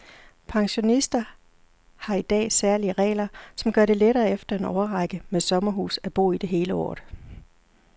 Pensionister har i dag særlige regler, som gør det lettere efter en årrække med sommerhus at bo i det hele året.